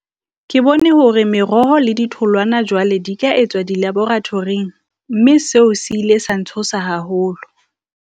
Ke bone hore meroho le di tholwana jwale di ka etswa di laborathoring, mme seo se ile sa ntshosa haholo.